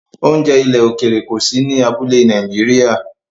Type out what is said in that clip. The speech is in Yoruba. Oúnjẹ ilẹ̀ òkèèrè kò sí ní abúlé Nàìjíríà